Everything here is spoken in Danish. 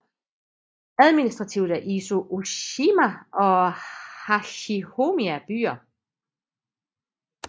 Administrativt er Izu Ooshima og Hachijojima byer